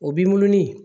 O b'i munu munu ni